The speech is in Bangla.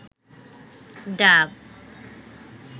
ডাব